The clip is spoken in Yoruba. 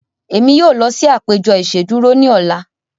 Emi yoo lọ si apejọ iṣeduro ni ọla.